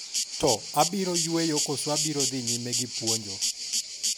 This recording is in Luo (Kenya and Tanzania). to, abiro yueyo koso abiro dhi nyime gi puonjo?